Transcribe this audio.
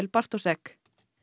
Bartoszek